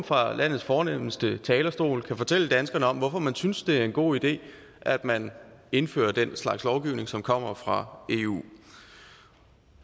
fra landets fornemste talerstol kan fortælle danskerne om hvorfor man synes det er en god idé at man indfører den slags lovgivning som kommer fra eu